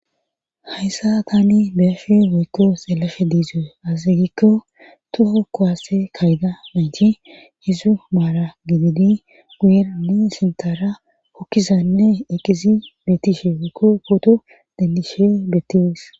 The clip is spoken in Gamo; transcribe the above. hayssa tani beyafe woykko selafe diizoe asiygikko toho kowaase kayda manci yesu maala gididi guyerani sintara hokkizanne eqqizi beettishe woykko footo dendishe betis